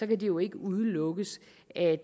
det jo ikke udelukkes at